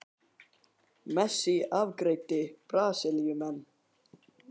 Messi afgreiddi Brasilíumenn